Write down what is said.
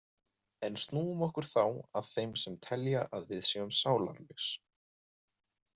En snúum okkur þá að þeim sem telja að við séum sálarlaus.